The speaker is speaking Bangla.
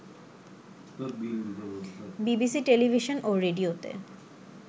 বিবিসি টেলিভিশন ও রেডিওতে